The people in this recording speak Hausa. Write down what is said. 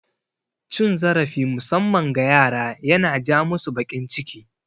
Cin zarafi musamman ga yara yana ja masu bakin ciki